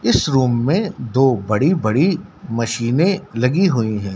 इस रूम मे दो बड़ी बड़ी मशीने लगी हुई हैं।